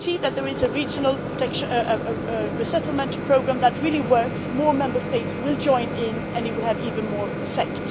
If they see that there is a regional resettlement programme that really works, more Member States will join in and it will have even more effect.